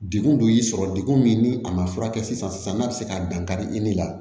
Degun dun y'i sɔrɔ degun min ni a ma furakɛ sisan n'a bɛ se ka dankari i ni la